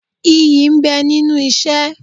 Iyì ń bẹ nínú isẹ́.